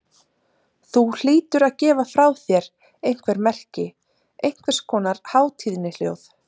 Þú hlýtur að gefa frá þér einhver merki, einhvers konar hátíðnihljóð.